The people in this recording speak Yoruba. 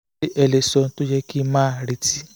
ẹ lè sọ ohun tó yẹ kí n máa retí